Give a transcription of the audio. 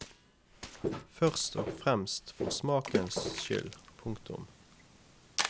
Først og fremst for smakens skyld. punktum